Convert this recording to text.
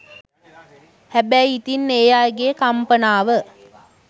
හැබැයි ඉතිං ඒ අයගේ කම්පනාව